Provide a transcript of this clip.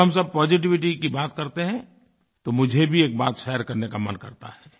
जब हम सब पॉजिटिविटी की बात करते हैं तो मुझे भी एक बात शेयर करने का मन करता है